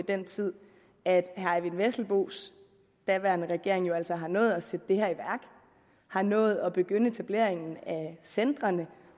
den tid at herre eyvind vesselbos daværende regering jo altså har nået at sætte det her i værk har nået at begynde etableringen af centrene